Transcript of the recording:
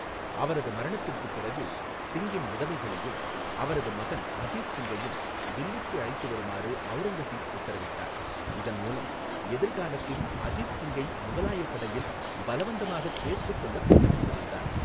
அவரது மரணத்திற்குப் பிறகு, சிங்கின் விதவைகளையும் அவரது மகன் அஜித் சிங்கையும் தில்லிக்கு அழைத்து வருமாறு அவுரங்கசீப் உத்தரவிட்டார், இதன் மூலம் எதிர்காலத்தில் அஜித் சிங்கை முகலாயப் படையில் பலவந்தமாகச் சேர்த்துக்கொள்ளத் திட்டமிட்டிருந்தார்.